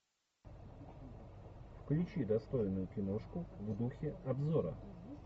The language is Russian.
включи достойную киношку в духе обзора